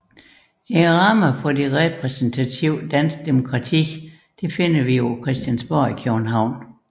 De ydre rammer for det repræsentative danske demokrati finder vi på Christiansborg i København